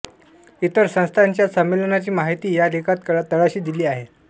इतर संस्थांच्या संमेलनांची माहिती या लेखात तळाशी दिली आहे